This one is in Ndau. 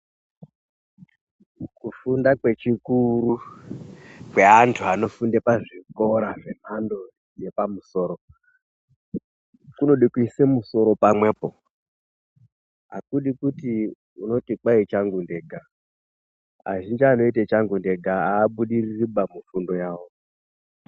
Kufunda kwechikuru kweantu anofunde pazvikora zvemhando yepamusoro kunode kuise musoro pamwepo akudi kuti unoti kwai changu ndega azhinji anoita changu ndega aabudiririba mufundo yawo.